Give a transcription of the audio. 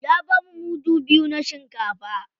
Ya bamu mudu biyu na shinkafa.